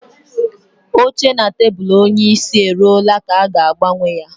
Oche na tebụl onyeisi e ruola ka a ga-agbanwe ya